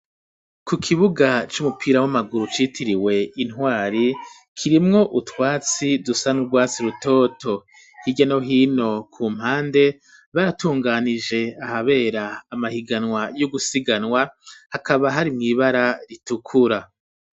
Ku kibuga c'umupira w'amaguru citiriwe intwari kirimwo utwatsi dusa nurwatsi rutoto hirya no hino ku mpande baratunganije ahabera amahiganwa yo gusiganwa hakaba hari mw'ibara ritukura.